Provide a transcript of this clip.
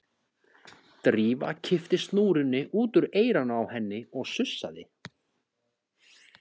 Drífa kippti snúrunni út úr eyranu á henni og sussaði.